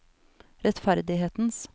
rettferdighetens